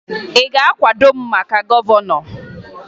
Ị ga-akwado m maka gọvanọ?